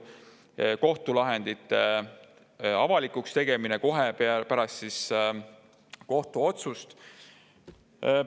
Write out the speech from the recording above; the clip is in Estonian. Näiteks kohtulahendite avalikuks tegemine kohe pärast kohtuotsust.